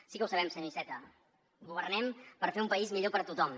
sí que ho sabem senyor iceta governem per fer un país millor per a tothom